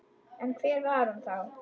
En hver var hún þá?